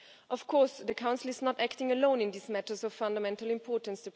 Of course, the Council is not acting alone in these matters of fundamental importance.